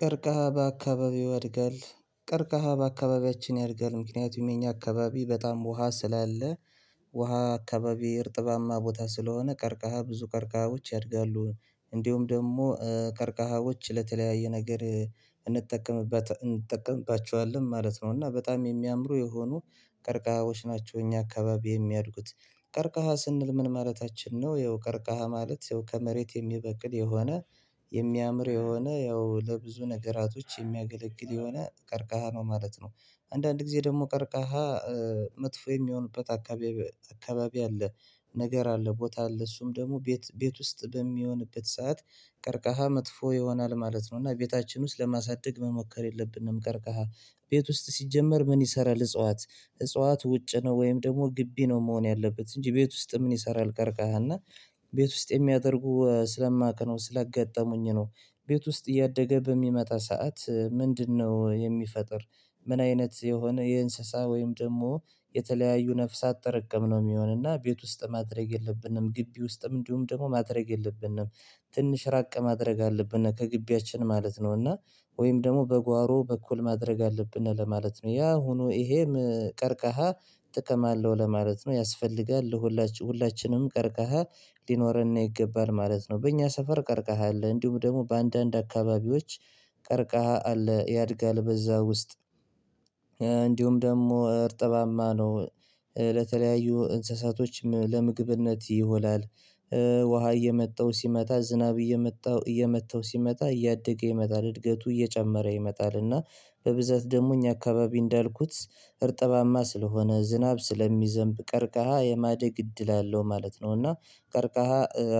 ቀርከሃ በአካባቢው ያድጋል ቀርከሃ በአካባቢያችን ያድጋል ምክንያቱም የኛ አካባቢ በጣም ውሃ ስላለ ውሃ አካባቢ እርጥባማ ቦታ ስለሆነ ቀርከሃ ብዙ ቀርከሃዎች ያድጋሉ እንዲሁም ደግሞ ከርቀሃዎች ለተለያየ ነገር። እንጠቀምባቸዋለን ማለት ነው። እና በጣም የሚያምሩ የሆኑ ቀርቃሃዎች ናቸው እኛ አካባቢ የሚያድጉት ቀርከሃ ስንል ምን ማለታችን ነው ይኸው ቀርከሃ ማለት ይኸው ከመሬት የሚበቅል የሆነ የሚያምር የሆነ ያው ለብዙ ነገራቶች የሚያገለግል የሆነ ቀርከሃ ነው ማለት ነው። አንዳንድ ጊዜ ደግሞ ቀርከሃ መጥፎ የሚሆንበት አካባቢ አለ። ነገር አለ ቦታ አለ እሱም ደግሞ ቤት ቤት ውስጥ በሚሆንበት ሰዓት ቀርቃሃ መጥፎ ይሆናል ማለት ነው። እና ቤታችን ውስጥ ለማሳደግ መሞከር የለብንም። ቀርከሃ ቤት ውስጥ ሲጀመር ምን ይሰራል? እጽዋት እጽዋት ውጭ ነው ወይም ደግሞ ግቢ ነው መሆን ያለበት እንጂ ቤት ውስጥ ምን ይሰራል? ቀርከሃል እና ቤት ውስጥ የሚያደርጉ ስለማውቅ ነው ስለገጠሙኝ ነው። ቤት ውስጥ እያደገ በሚመጣ ሰዓት ምንድነው የሚፈጥር? ምን አይነት የሆነ የእንስሳ ወይም ደግሞ የተለያዩ ነፍሳት ጥርቅም ነው የሚሆነና ቤት ውስጥ ማድረግ የለብንም። ግቢ ውስጥም እንዲሁም ደግሞ ማድረግ የለብንም። ትንሽ ራቅ ማድረግ አለብን ከግቢያችን ማለት ነው። እና ወይም ደግሞ በጓሮ በኩል ማድረግ አለብን ለማለት ነው። ያ ሆኖ ይሄም ቀርከሃ ጥቅም አለው ለማለት ነው ያስፈልጋል። ሁላችንም ቀርከሃ ሊኖርና ይገባል ማለት ነው። በእኛ ሰፈር ቀርከሃ አለ እንዲሁም ደግሞ በአንዳንድ አካባቢዎች ቀርከቃ አለ ያድጋል በዛ ውስጥ። እንዲሁም ደግሞ እርጥባማ ነው ለተለያዩ እንስሳቶችም ለምግብነት ይሆናል። ውሃ እየመጣው ሲመታ ዝናብ እየመጣው እየመታው ሲመጣ እያደገ ይመጣል እድገቱ እየጨመረ ይመጣል። እና በብዛት ደግሞ እኛ አካባቢ እንዳልኩት እርጥባማ ስለሆነ ዝናብ ስለሚዘንብ ቀርከሃ የማደግ እድል አለው ማለት ነው። እና ቀርከሃ